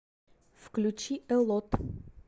включи э лот